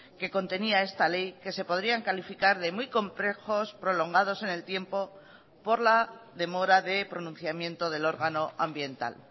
que contenía esta ley que se podrían calificar de muy complejos prolongados en el tiempo por la demora de pronunciamiento del órgano ambiental